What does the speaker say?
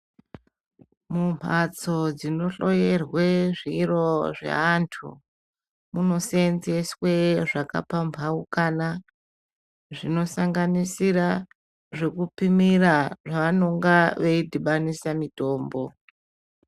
Mu mbatso dzino hloyerwe zviro zve antu muno senzeswe zvaka pambaukana zvino sanganisira zveku pimira zva vanonga veyi dhibanisa mutombo.